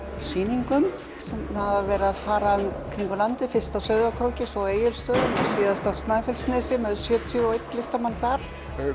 sýningum sem hafa verið að fara um landið fyrst á Sauðárkróki svo Egilsstöðum og síðast á Snæfellsnesi með sjötíu og einn listamann þar